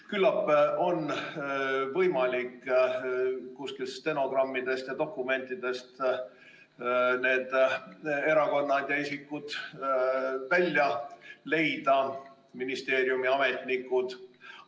Küllap on võimalik stenogrammidest ja dokumentidest need erakonnad ja isikud, ministeeriumi ametnikud välja otsida.